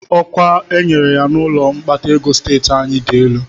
Ọkwa e nyere ya n'ụlọọrụ mkpata ego steeti anyị dị elu